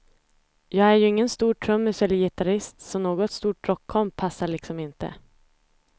Jag är ju ingen stor trummis eller gitarrist, så något stort rockkomp passar liksom inte.